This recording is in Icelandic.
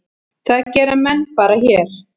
Það gera menn bara hér.